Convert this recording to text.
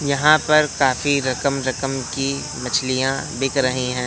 यहाँ पर काफी रकम रकम की मछलियाँ बिक रहीं हैं।